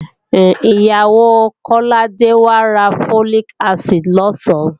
Ìyàwó Kọ́ládé wá ra Folic acid lọ̀sán